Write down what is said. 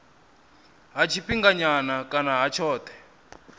ha tshifhinganyana kana ha tshothe